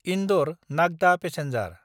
इन्दर–नागदा passenger